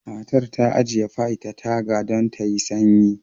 Matar ta ajiye pie ta taga don ta sanyi